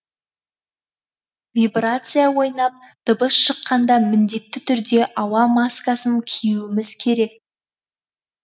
вибрация ойнап дыбыс шыққанда міндетті түрде ауа маскасын киюіміз керек